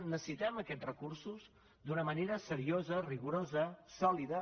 necessitem aquests recursos d’una manera seriosa rigorosa sòlida